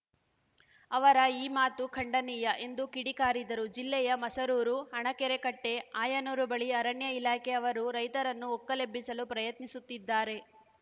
ಅವರ ಈ ಮಾತು ಖಂಡನೀಯ ಎಂದು ಕಿಡಿಕಾರಿದರು ಜಿಲ್ಲೆಯ ಮಸರೂರು ಹಣಗೆರೆ ಕಟ್ಟೆ ಆಯನೂರು ಬಳಿ ಅರಣ್ಯ ಇಲಾಖೆ ಅವರು ರೈತರನ್ನು ಒಕ್ಕಲೆಬ್ಬಿಸಲು ಪ್ರಯತ್ನಿಸುತ್ತಿದ್ದಾರೆ